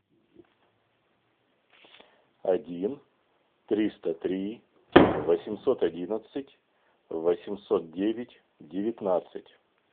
один триста три восемьсот одиннадцать восемьсот девять девятнадцать